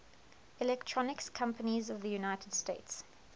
electronics companies of the united states